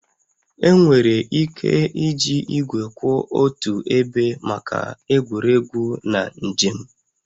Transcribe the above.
Enwere ike iji igwe kwụ otu ebe maka egwuregwu na njem